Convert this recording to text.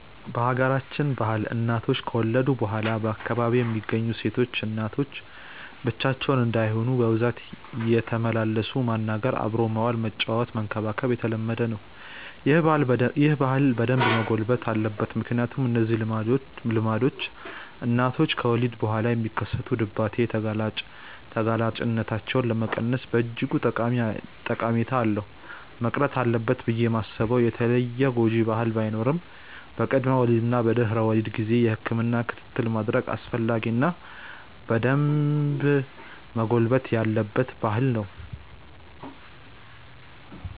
በሀገራችን ባህል እናቶች ከወለዱ በኋላ በአካባቢው የሚገኙ ሴቶች እናቶች ብቻቸውን እንዳይሆኑ በብዛት እየተመላለሱ ማናገር፣ አብሮ መዋል፣ ማጫወትና መንከባከብ የተለመደ ነው። ይህ ባህል በደንብ መጎልበት አለበት ምክንያቱም እነዚህ ልምምዶች እናቶች ከወሊድ በኋላ የሚከሰት ድባቴ ተጋላጭነታቸውን ለመቀነስ በእጅጉ ጠቀሜታ አለው። መቅረት አለበት ብዬ ማስበው የተለየ ጎጂ ባህል ባይኖርም በቅድመ ወሊድ እና በድህረ ወሊድ ጊዜ የህክምና ክትትል ማድረግ አስፈላጊ እና በደንብ መጎልበት ያለበት ባህል ነው።